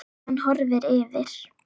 Hann horfir yfir